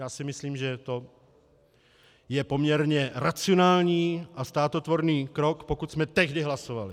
Já si myslím, že je to poměrně racionální a státotvorný krok, pokud jsme tehdy hlasovali.